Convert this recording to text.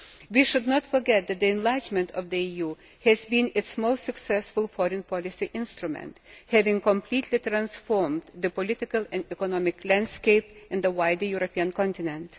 We should not forget that the enlargement of the EU has been its most successful foreign policy instrument, having completely transformed the political and economic landscape and the wider European continent.